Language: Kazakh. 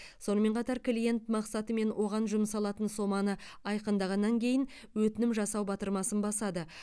сонымен қатар клиент мақсаты мен оған жұмсалатын соманы айқындағаннан кейін өтінім жасау батырмасын басады